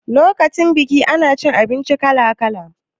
Lokacin biki ana cin abinci kala kala